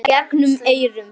Í gegnum eyrun.